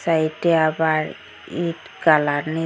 সাইটে -এ আবার ইট কালার নীস--